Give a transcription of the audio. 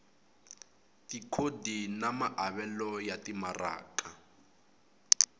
tikhodi na maavelo ya timaraka